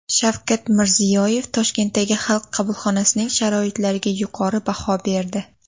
Shavkat Mirziyoyev Toshkentdagi Xalq qabulxonasining sharoitlariga yuqori baho berdi.